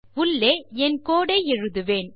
உள்ளே என் கோடு ஐ எழுதுவேன்